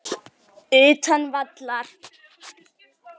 Utan vallar.